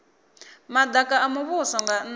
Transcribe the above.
madaka a muvhuso nga nnda